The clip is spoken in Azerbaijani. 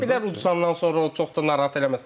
Ola bilər uduzandan sonra o çox da narahat eləməsin.